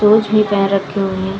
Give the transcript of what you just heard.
Shoes भी पेहेन रखे हुए हैं ।